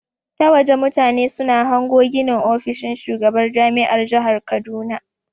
Ta waje mutane suna hango ginin ofishin shugaban jami'ar jahar kaduna.